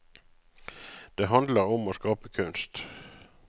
Det handler om å skape kunst.